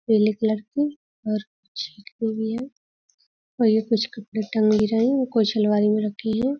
पीले कलर की और कुछ भी हैं और ये कुछ कपड़े टंगे रहे हैं और कुछ आलमारी में रखी हैं।